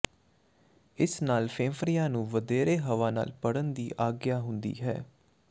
ਇਸ ਨਾਲ ਫੇਫੜਿਆਂ ਨੂੰ ਵਧੇਰੇ ਹਵਾ ਨਾਲ ਭਰਨ ਦੀ ਆਗਿਆ ਹੁੰਦੀ ਹੈ